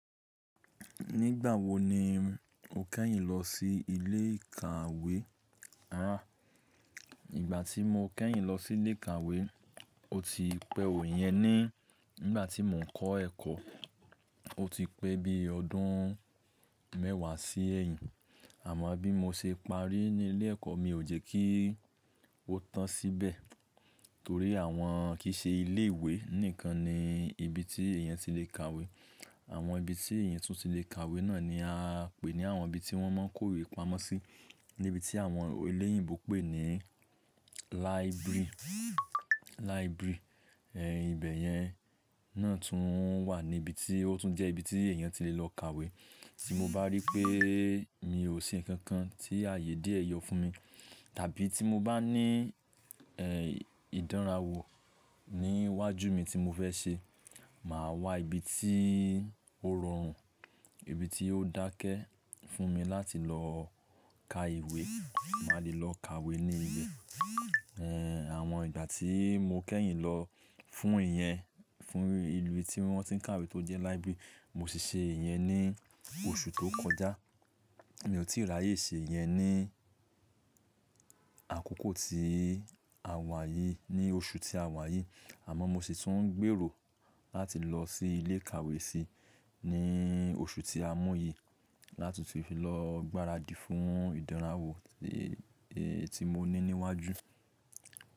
Nígbà wo ni o kẹ́yìn lọ sí ilé ìkàwé? Rárá, ìgbà tí mo kẹ́yìn lọ sí ilé ìkàwé, ó ti pẹ́ ò ìyẹn ni. Nígbà tí mò ń kọ́ ẹ̀kọ́, ó ti pẹ́ bí ọdún mẹ́wàá sí ẹ́yìn. Àmọ́ bí mo ṣe parí ní ilé ẹ̀kọ́, mi ò jẹ́ kí ó tán síbẹ̀. Torí àwọn kìí ṣe ilé ìwé nìkan ni ibi tí èèyàn ti lè kàwé. Àwọn ibi tí èèyàn tún ti lè kàwé náà ni a ń pè ní àwọn ibi tí wọ́n máa ń kórè pamọ́ sí, ní ibi tí àwọn eléyìnbo pè ní library. Library, ibẹ̀ yẹn náà tún wà ní ibi tí ó tún jẹ́ ibi tí èèyàn ti lè lọ kàwé. Tí mo bá rí pé mi ò ṣe nǹkan kan tí ààyè diẹ́ yọ fún mi, tàbí tí mo bá ní ìdánrawò ní iwájú mi tí mo fẹ́ ṣe, màá wá ibi tí ó rọrùn, ibi tí ó dákẹ́ fún mi láti lọ kà ìwé. Màá lè lọ kàwé ní i bẹ àwọn ìgbà tí mo kẹ́yìn lọ fún ìyẹn, fún ibi tí wọ́n ti ń kàwé tó jẹ́ library, mo ṣì ṣe ìyẹn ní oṣù tó kọjá. Mi ò tíì ráyè ṣe ìyẹn ní àkókò tí a wà yìí, ní oṣù tí a wà yìí. Àmọ́ mo sì ń tún ń gbèrò láti lọ sí ilé ìkàwé sí ní oṣù tí a mú yì, láti fi lọ gbáradì fún ìdánrawò èyí tí mo ti ní iwájú.